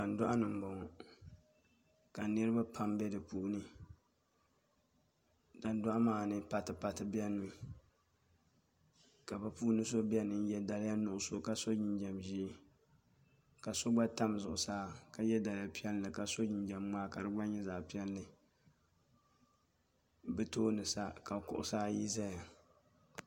Tandoɣani n boŋo ka niraba pam bɛ di puuni tandoɣu maa ni pati pati biɛni mi ka bi puuni so biɛni n yɛ daliya nuɣso ka so jinjɛm ʒiɛ ka so gba tam zuɣusaa ka yɛ daliya piɛlli ka so jinjɛm ŋmaa ka di gba nyɛ zaɣ piɛlli bi tooni sa ka kuɣusi ayi ʒɛya